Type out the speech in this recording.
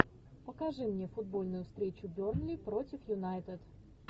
покажи мне футбольную встречу бернли против юнайтед